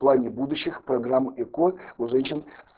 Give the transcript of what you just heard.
в плане будущих программ эко у женщин